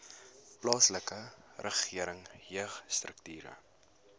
plaaslike regering jeugstrukture